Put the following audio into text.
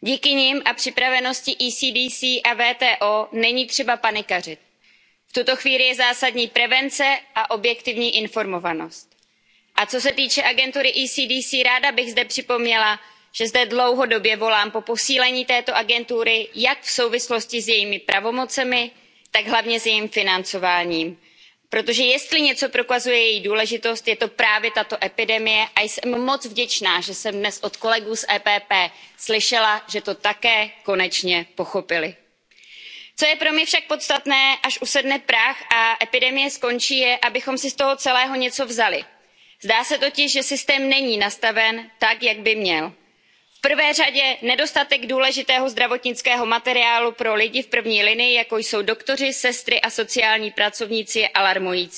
Díky nim a připravenosti ECDC a WTO není třeba panikařit. V tuto chvíli je zásadní prevence a objektivní informovanost. A co se týče agentury ECDC, ráda bych zde připomněla, že zde dlouhodobě volám po posílení této agentury jak v souvislosti s jejími pravomocemi, tak hlavně s jejím financováním. Protože jestli něco prokazuje její důležitost, je to právě tato epidemie a jsem moc vděčná, že jsem dnes od kolegů z PPE slyšela, že to také konečně pochopili. Co je pro mě však podstatné, až usedne prach a epidemie skončí, je, abychom si z toho celého něco vzali. Zdá se totiž, že systém není nastaven tak, jak by měl. V prvé řadě nedostatek důležitého zdravotnického materiálu pro lidi v první linii, jako jsou doktoři, sestry a sociální pracovníci, je alarmující.